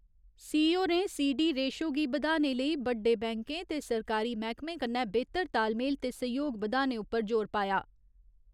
C होरें C . D ratio गी बधाने लेई बड्डे बैंकें ते सरकारी मैह्‌कमें कन्नै बेह्‌तर तालमेल ते सैह्‌योग बधाने उप्पर जोर पाया।